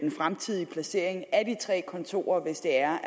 fremtidige placering af de tre kontorer hvis det er